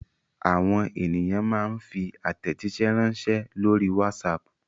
Àwọn ènìyàn máa ń fi àtẹ̀jíṣẹ́ ránṣẹ́ lórí WhatsApp.